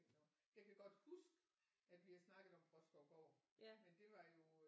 Over jeg kan da godt huske at vi har snakket om Bråskovgård men det var jo